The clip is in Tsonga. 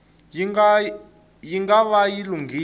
yi nga va yi lunghile